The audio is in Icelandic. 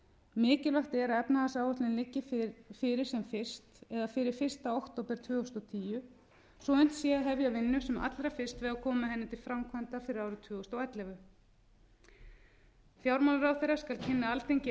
mikilvægt er að efnahagsáætlunin liggi fyrir sem fyrst eða fyrir fyrsta október tvö þúsund og tíu svo að unnt sé að hefja vinnu sem allra fyrst við að koma henni til framkvæmda fyrir árið tvö þúsund og ellefu fjármálaráðherra skal kynna alþingi efnahagsáætlunina